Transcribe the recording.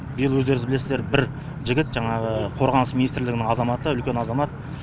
биыл өздеріңіз білесіздер бір жігіт жаңағы қорғаныс министрлігінің азаматы үлкен азамат